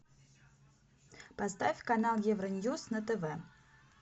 поставь канал евро ньюс на тв